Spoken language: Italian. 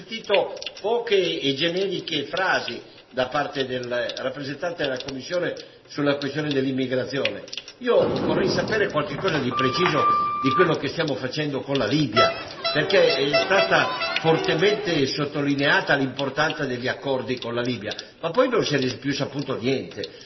Signor Presidente, onorevoli colleghi, abbiamo sentito poche e generiche frasi da parte del rappresentante della Commissione sulla questione dell'immigrazione. Io vorrei sapere qualcosa di preciso di quello che stiamo facendo con la Libia, perché è stata fortemente sottolineata l'importanza degli accordi con la Libia, ma poi non se n'è più saputo niente.